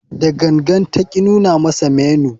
Da gangan ta ki nuna masa menu.